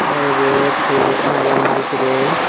te ibot tegen ekkan agey maal train.